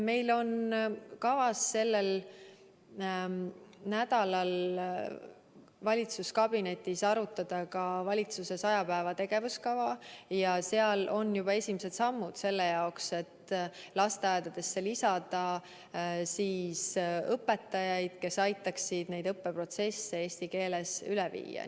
Meil on kavas sellel nädalal valitsuskabinetis arutada ka valitsuse saja päeva tegevuskava ja seal on juba esimesed sammud selle jaoks, et lasteaedadesse lisada õpetajaid, kes aitaksid õppeprotsessi eesti keelele üle viia.